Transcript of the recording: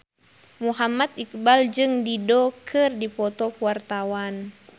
Muhammad Iqbal jeung Dido keur dipoto ku wartawan